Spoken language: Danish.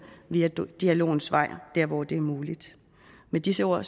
via dialogens vej der hvor det er muligt med disse ord